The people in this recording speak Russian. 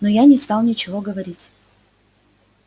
но я не стал ничего говорить